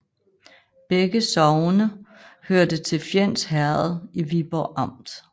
Begge sogne hørte til Fjends Herred i Viborg Amt